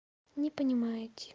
не понимаете